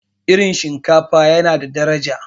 irin shinkafa yana da daraja